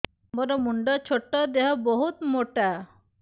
ମୋର ମୁଣ୍ଡ ଛୋଟ ଦେହ ବହୁତ ମୋଟା